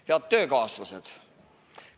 Head töökaaslased!